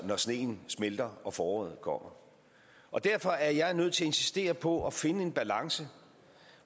sneen smelter og foråret kommer derfor er jeg nødt til at insistere på at finde en balance